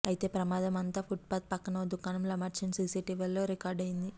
అయితే ప్రమాదం అంతా ఫుట్పాత్ పక్కన ఓ దుకాణంలో అమర్చిన సీసీటీవీలో రికార్డు అయింది